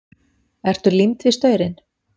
Ertu límd við staurinn?